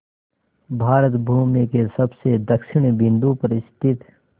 भारत भूमि के सबसे दक्षिण बिंदु पर स्थित